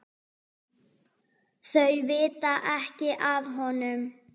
Þau vita ekki af honum.